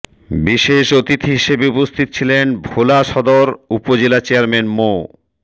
বিশেষ অতিথি হিসেবে উপস্থিত ছিলেন ভোলা সদর উপজেলা চেয়্যারমান মো